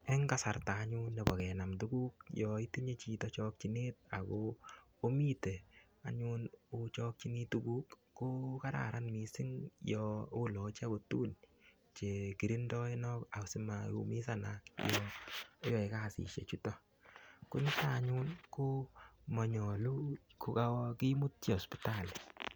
En kasarta anyun nebo kenaam tukuk yoon itinye chito chokyinet ak ko omiten anyun ochokyini tukuk ko kararan mising yoon oloche okot tukun chekirindoenok asimaumisanak yoon oyoe kasishe chuton, koniton anyun ko monyolu ko kokimutyi sipitali.